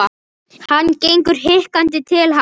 Hann gengur hikandi til hans.